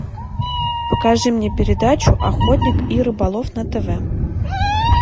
покажи мне передачу охотник и рыболов на тв